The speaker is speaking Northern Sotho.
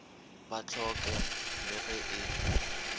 ba hloke le ge e